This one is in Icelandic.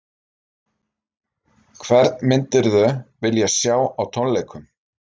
Hvern myndirðu vilja sjá á tónleikum?